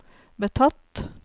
betatt